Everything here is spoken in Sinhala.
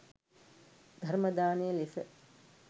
ධර්ම දානය ලෙස